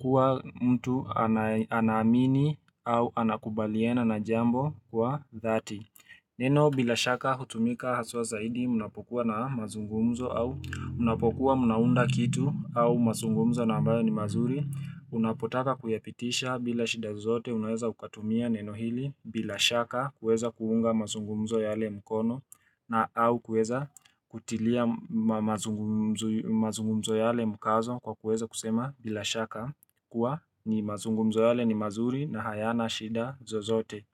kwa mtu anamini au anakubaliana na jambo kwa dhati. Neno bila shaka hutumika haswa zaidi unapokuwa na mazungumzo au unapokuwa mnaunda kitu au mazungumzo na ambayo ni mazuri Unapotaka kuyapitisha bila shida zozote unaweza ukatumia neno hili bila shaka kuweza kuunga mazungumzo yaale mkono na au kuweza kutilia mazungumzo mazungumzo ya ale mkazo kwa kuweza kusema bila shaka kuwa ni mazungumzo ya ale ni mazuri na hayana shida zozote.